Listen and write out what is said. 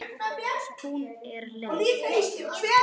Hún er leið.